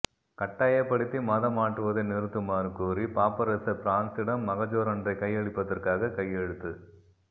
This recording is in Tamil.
கட்டாயப்படுத்தி மதம் மாற்றுவதை நிறுத்துமாறு கோரி பாப்பரசர் பிரன்ஸிசிடம் மகஜரொன்றைக் கையளிப்பதற்காக கையெழுத்து